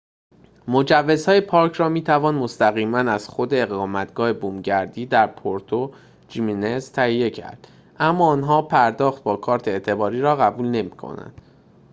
مجوزهای پارک را می‌توان مستقیماً از خود اقامتگاه بومگردی در پورتو جیمنز تهیه کرد اما آنها پرداخت با کارت اعتباری را قبول نمی‌کنند